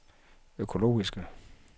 økologiske